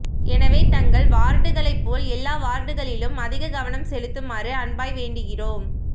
எனவே தங்கள் வார்டுகளை போல் எல்லா வார்டுகளிலும் அதிக கவனம் செலுத்துமாறு அன்பாய் வேண்டுகிறோம்